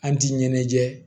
An ti ɲɛnajɛ